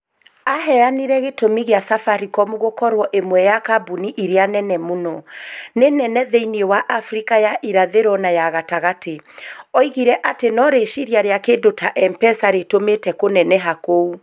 Aheanire gĩtũmi kĩa Safaricom gũkorwo ĩmwe ya kambuni iria nene mũno. Nĩ nene thĩinĩ wa Afrika ya irathĩro na ya gatagatĩ. Oigire atĩ no rĩciria rĩa kĩndu ta M-Pesa rĩtũmĩte kũneneha kou.